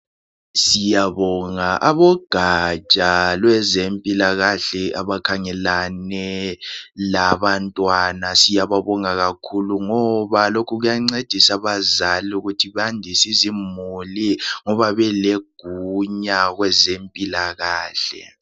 siyabonga abogatsha lwezempilakahle abakhangelane labantwana siyababonga kakhulu ngoba lokhu kuyancedisa abazali ukuthi bandise izimuli ngoba belegunya kwezempilakahle